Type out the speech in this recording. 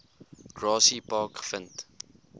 grassy park gevind